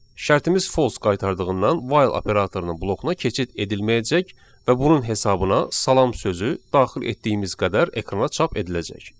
Şərtimiz false qaytardığından while operatorunun blokuna keçid edilməyəcək və bunun hesabına salam sözü daxil etdiyimiz qədər ekrana çap ediləcək.